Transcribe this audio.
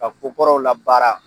Ka ko kɔrɔw la baara